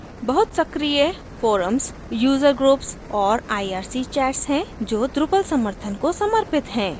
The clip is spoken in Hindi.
बहुत सक्रीय forums यूज़र groups और irc chats हैं जो drupal समर्थन को समर्पित हैं